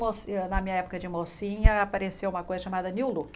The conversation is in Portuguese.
na minha época de mocinha, apareceu uma coisa chamada new look.